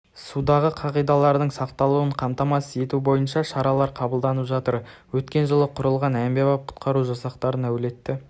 судағы қағидалардың сақталуын қамтамасыз ету бойынша шаралар қабылданып жатыр өткен жылы құрылған әмбебап құтқару жасақтарын әлеуеті